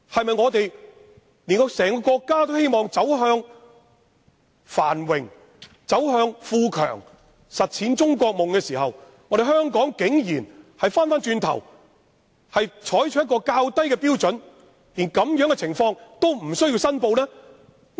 在整個國家都希望走向繁榮、富強、實踐"中國夢"的時候，香港竟然走回頭路，採取較低標準，連這樣的情況都不用申報。